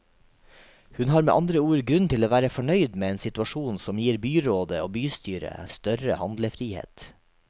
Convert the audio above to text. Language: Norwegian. Hun har med andre ord grunn til å være fornøyd med en situasjon som gir byrådet og bystyret større handlefrihet.